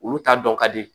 Olu t'a dɔn ka di